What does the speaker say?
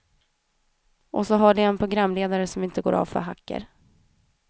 Och så har det en programledare som inte går av för hackor.